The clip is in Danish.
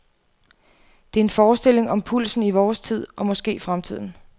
Det er en forestilling om pulsen i vores tid og måske fremtiden.